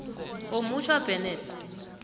omutjha tw bennett